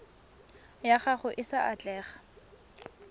ya gago e sa atlega